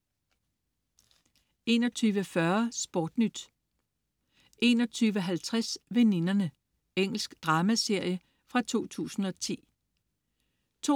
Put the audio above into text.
21.40 SportNyt 21.50 Veninderne. Engelsk dramaserie fra 2010 22.40